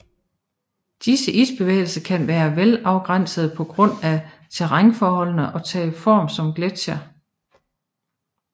Disse isbevægelser kan være velafgrænsede på grund af terrænforholdene og tage form som gletsjere